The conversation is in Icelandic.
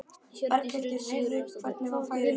Berghildur: Heyrðu, hvernig var færið?